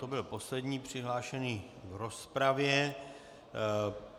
To byl poslední přihlášený k rozpravě.